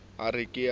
a ke ke a re